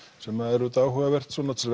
sem er auðvitað áhugavert svona til